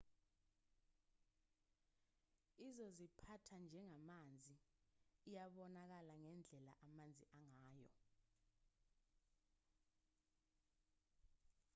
izoziphatha njengamanzi iyabonakala ngendlela amanzi angayo